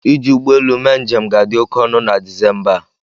Iji ụgbọelu mee njem ga-adị oke ọnụ na disemba a.